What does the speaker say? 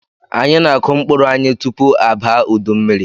Anyị na-akụ mkpụrụ anyị tupu abaa udu mmiri.